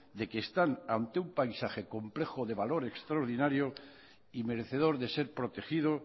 de que están ante un paisaje complejo de valor extraordinario y merecedor de ser protegido